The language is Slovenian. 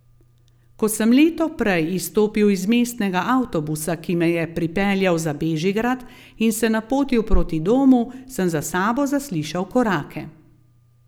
Ko sem leto prej izstopil iz mestnega avtobusa, ki me je pripeljal za Bežigrad, in se napotil proti domu, sem za sabo zaslišal korake.